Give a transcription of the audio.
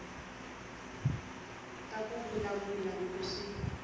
ka ku vulavula loko swi